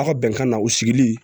Aw ka bɛnkan na u sigili